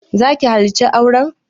Za ki halarci auren?